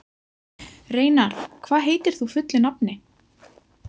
Reynarð, hvað heitir þú fullu nafni?